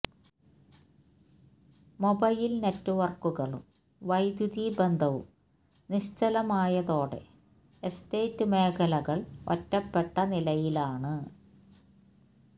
mobile നെറ്റുവർക്കുകളും വൈദ്യുതി ബന്ധവും നിശ്ചലമായതോടെ എസ്റ്റേറ്റ് മേഖലകൾ ഒറ്റപ്പെട്ട നിലയിലാണ്